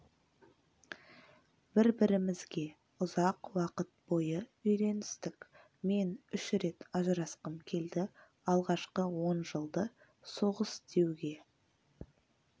бір-бірімізге ұзақ уақыт бойы үйреністік мен үш рет ажырасқым келді алғашқы он жылды соғыс деуге